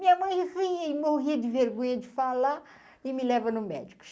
Minha mãe, e morria de vergonha de falar e me leva no médico.